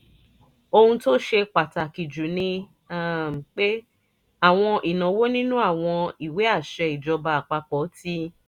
ohun tó ṣe pàtàkì jù ni um pé: àwọn ìnáwó nínú àwọn ìwé àṣẹ ìjọba àpapọ̀ ti